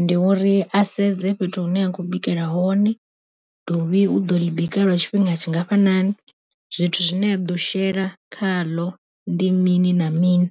ndi uri a sedze fhethu hune a khou bikela hone, dovhi u ḓo ḽi bika lwa tshifhinga tshingafhanani zwithu zwine a ḓo shela khaḽo ndi mini na mini.